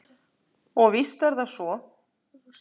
Og víst er það svo.